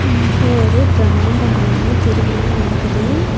இங்க ஒரு பிரம்மாண்டமான திருவிழா நடக்குது.